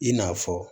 I n'a fɔ